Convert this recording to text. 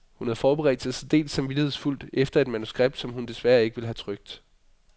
Hun havde forberedt sig særdeles samvittighedsfuldt, efter et manuskript, som hun desværre ikke ville have trykt.